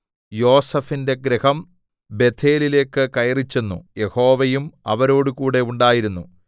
യോസേഫിന്റെ ഗൃഹം ബേഥേലിലേക്ക് കയറിച്ചെന്നു യഹോവയും അവരോടുകൂടെ ഉണ്ടായിരുന്നു